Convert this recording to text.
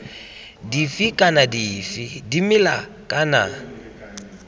dife kana dife dimela kana